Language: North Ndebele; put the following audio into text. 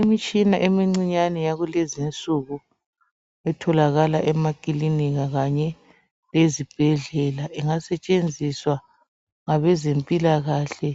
Imitshina emincinyane eyakulezinsuku etholakala emakilinika kanye lezibhedlela ingasetshenziswa ngabezempilakahle